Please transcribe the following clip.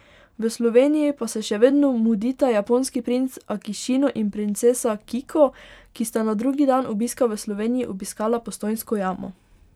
V Sloveniji pa se še vedno mudita japonski princ Akišino in princesa Kiko, ki sta na drugi dan obiska v Sloveniji obiskala Postojnsko jamo.